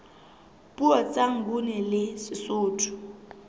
puo tsa nguni le sesotho